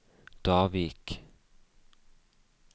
Davik